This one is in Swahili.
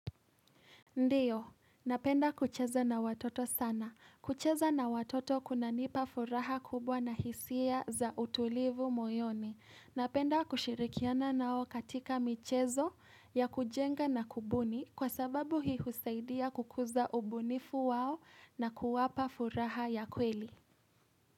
Ndio, napenda kucheza na watoto sana. Kucheza na watoto kunanipa furaha kubwa na hisia za utulivu moyoni. Napenda kushirikiana nao katika michezo ya kujenga na kubuni kwa sababu hii husaidia kukuza ubunifu wao na kuwapa furaha ya kweli.